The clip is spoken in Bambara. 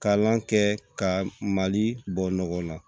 Kalan kɛ ka mali bɔ nɔgɔ la